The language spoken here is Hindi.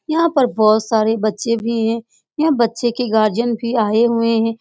यहां पर बहोत सारे बच्चे भी हैं यह बच्चे के गार्जियन भी आये हुए हैं।